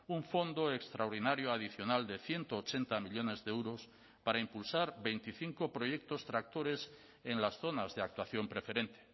un fondo extraordinario adicional de ciento ochenta millónes de euros para impulsar veinticinco proyectos tractores en las zonas de actuación preferente